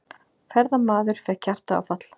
Ferðamaður fékk hjartaáfall